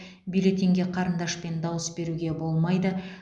бюллетенге қарындашпен дауыс беруге болмайды